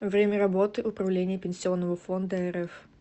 время работы управление пенсионного фонда рф